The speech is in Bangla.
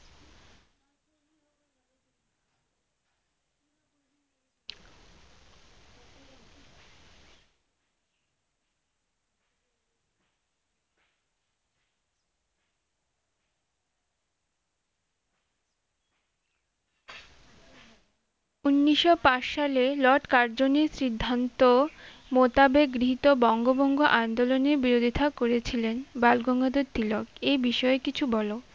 উনিশশো পাঁচ সালে লর্ড কার্জনির সিদ্ধন্ত মতাবেধ হৃত বঙ্গ ভঙ্গ আন্দলনের বিরোধিতা করেছিলেন বালগঙ্গাধর তিলক এ বিষয়ে কিছু বলো